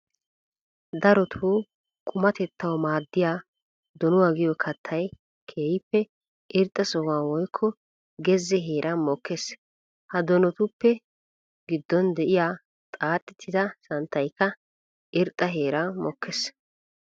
Darotto qumatettawu maadiya donuwa giyo kattay keehippe irxxa sohuwani woykko geze heeran mookes. Ha donotuppe gidon de'iya xaaxxetidda santtaykka irxxa heeran mokees.